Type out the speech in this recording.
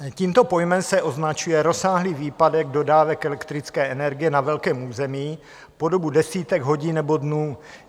Tímto pojmem se označuje rozsáhlý výpadek dodávek elektrické energie na velkém území po dobu desítek hodin nebo dnů.